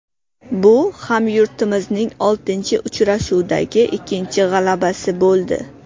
Bu hamyurtimizning oltinchi uchrashuvdagi ikkinchi g‘alabasi bo‘ldi.